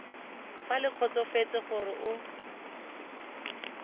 fa le kgotsofetse gore o